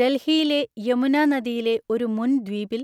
ഡൽഹിയിലെ യമുന നദിയിലെ ഒരു മുൻ ദ്വീപിൽ